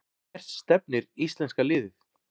Hvert stefnir íslenska liðið